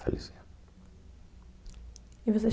Faleceu. E você